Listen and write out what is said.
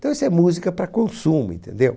Então, isso é música para consumo, entendeu?